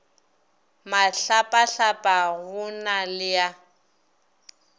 mahlapahlapa go na le a